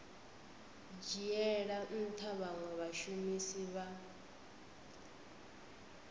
dzhiela ntha vhanwe vhashumisi vha